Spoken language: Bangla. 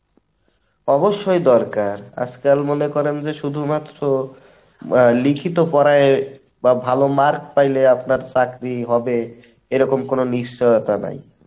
অবশ্যই দরকার, আজকাল মনে করেন যে শুধুমাত্র লিখিত পড়ায়ে বা ভালো mark পাইলে আপনার চাকরি হবে এরকম কোনো নিশ্চয়তা নাই।